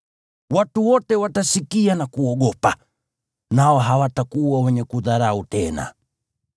Watu wote watasikia na kuogopa, nao hawatakuwa wenye kudharau tena.